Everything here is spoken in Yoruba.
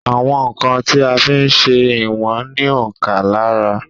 Àwọn ǹkan tí a ń fí ń ṣé ìwọ̀n ní òǹkà lára